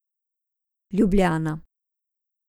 Ljubljana.